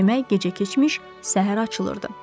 Demək, gecə keçmiş, səhər açılırdı.